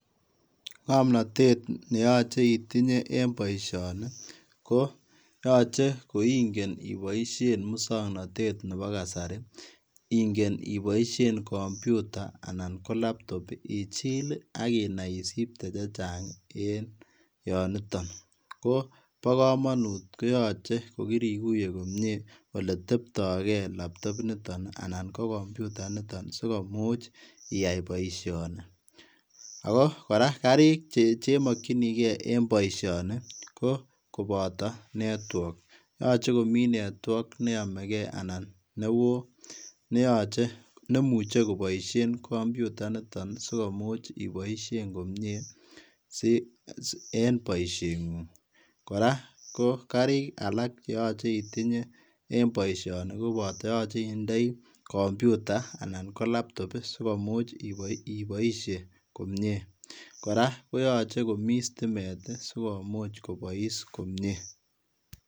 Ngamnatet neyachei itinyei en boisioni ko yachei ko ingeen ibaisheen musangnatet ab kasari ii ingeen ibaisheen [computer] anan ko [laptop] ichiil ii aginai isipite chechaang en Yoon nitoon ko bo kamanut yaan kiriguyee komyei ole teptai gei [laptop] initoon ii ana ko [computer] initoon sikomuuch iyai baishanii ago kora garrik che makyinigei en boisioni ko kobataa [network] yachei komii [network] ne yamegei anan me wooh nemuchei kobaisheen [computer] initoon komuuch ibaisheen komyei si en boisioni nguung kora gariik alaak che yachei itinyei en boisioni ko [computer] anan ko [laptop] sikomuuch ibaishee komyei kora koyachei komii stimeet ii sikomuuch kobais komyei.